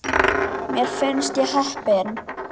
Mér finnst ég heppin.